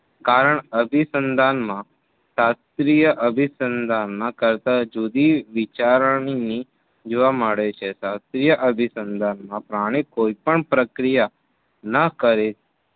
કારણ અભીસંધાનમાં શાસ્ત્રીય અભી સંધાન ના કરતા જુદી વિચારણની જોવા મળે છે. શાસ્ત્રીય અભીસંધાનમાં પ્રાણી કોઈ પણ પ્રક્રિયા ના કરે